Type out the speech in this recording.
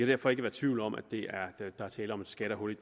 derfor ikke være tvivl om at der er tale om et skattehul i